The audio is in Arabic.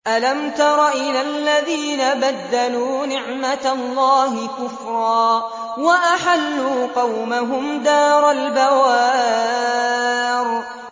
۞ أَلَمْ تَرَ إِلَى الَّذِينَ بَدَّلُوا نِعْمَتَ اللَّهِ كُفْرًا وَأَحَلُّوا قَوْمَهُمْ دَارَ الْبَوَارِ